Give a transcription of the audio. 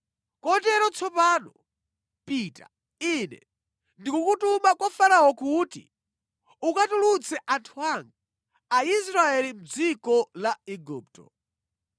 Kotero tsopano, pita. Ine ndikukutuma kwa Farao kuti ukatulutse anthu anga, Aisraeli mʼdziko la Igupto.”